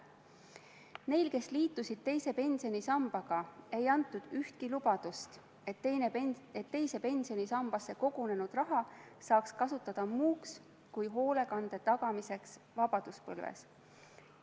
Neile, kes liitusid teise pensionisambaga, ei antud ühtki lubadust, et teise pensionisambasse kogunenud raha saab kasutada muuks kui hoolekande tagamiseks vanaduspõlves.